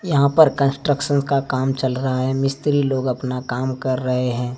यहां पर कंस्ट्रक्शन का काम चल रहा है मिस्त्री लोग अपना काम कर रहे हैं।